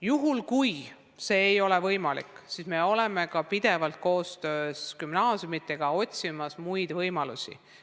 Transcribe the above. Juhuks kui see ei ole võimalik, me oleme koostöös gümnaasiumidega otsinud ka muid võimalusi.